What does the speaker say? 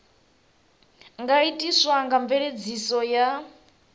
nga itiswa nga mveledziso ya